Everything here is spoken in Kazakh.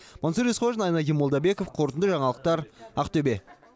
мансұр есқожин айнадин молдабеков қорытынды жаңалықтар ақтөбе